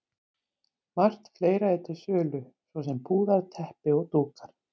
Margt fleira er til sölu, svo sem púðar, teppi og dúkar.